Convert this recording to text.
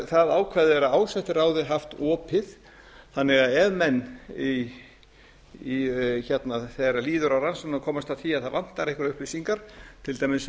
það ákvæði er af ásettu ráði haft opið þannig að ef menn þegar líður á rannsóknina komast að því að það vantar einhverjar upplýsingar til dæmis